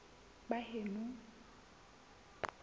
baheno